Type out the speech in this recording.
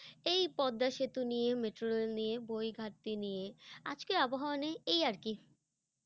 এই পদ্মা সেতু নিয়ে, metro rail নিয়ে, বই ঘাটতি নিয়ে, আজকের আবহাওয়া নিয়ে, এই আর কি।